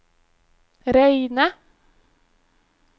reine